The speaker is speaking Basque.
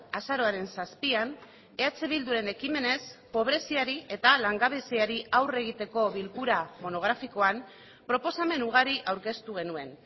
azaroaren zazpian eh bilduren ekimenez pobreziari eta langabeziari aurre egiteko bilkura monografikoan proposamen ugari aurkeztu genuen